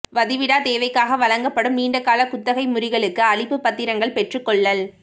வதிவிடத் தேவைக்காக வழங்கப்படும் நீண்ட காலக் குத்தகை முறிகளுக்கு அளிப்புப் பத்திரங்கள் பெற்றுக்கொள்ளல்